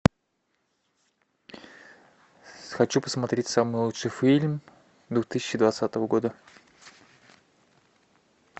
хочу посмотреть самый лучший фильм две тысячи двадцатого года